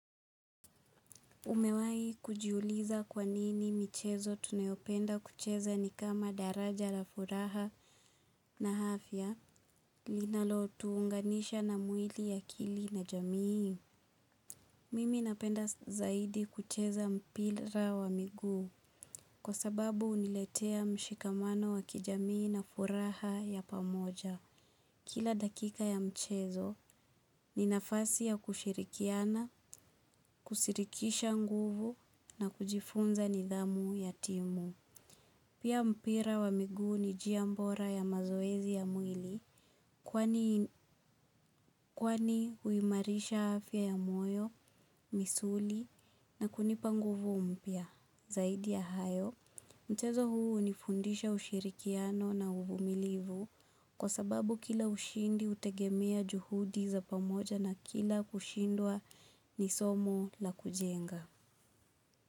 Umewahi kujiuliza kwa nini michezo tunayopenda kucheza ni kama daraja la furaha na afya linalotuunganisha na mwili akili na jamii. Mimi napenda zaidi kucheza mpira wa miguu kwa sababu huniletea mshikamano wa kijamii na furaha ya pamoja. Kila dakika ya mchezo ni nafasi ya kushirikiana, kushirikisha nguvu na kujifunza nidhamu ya timu. Pia mpira wa miguu ni njia bora ya mazoezi ya mwili kwani kwani huimarisha afya ya moyo, misuli na kunipa nguvu mpya. Zaidi ya hayo, mchezo huu hunifundisha ushirikiano na uvumilivu kwa sababu kila ushindi hutegemea juhudi za pamoja na kila kushindwa ni somo la kujenga.